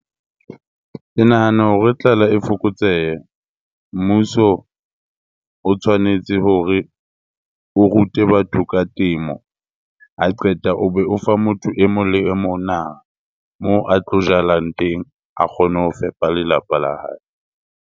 Ke nahana hore tlala e fokotsehe, mmuso o tshwanetse hore o rute batho ka temo. Ha e qeta o be o fa motho e mong le e mong naha moo a tlo jalang teng, a kgone ho fepa lelapa la hae.